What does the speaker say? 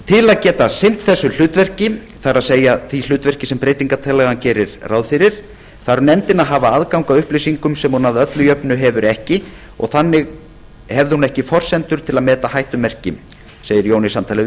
til að geta sinnt þessu hlutverki það er því hlutverki sem breytingartillagan gerir ráð fyrir þarf nefndin að hafa aðgang að upplýsingum sem hún öllu jöfnu hefur ekki og þannig hefði ekki allar forsendur til að meta hættumerki segi jón í samtali við